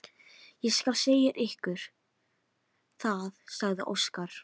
Ég skal segja ykkur það, sagði Óskar.